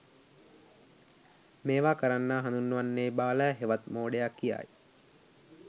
මේවා කරන්නා හඳුන්වන්නේ බාලයා හෙවත් මෝඩයා කියායි.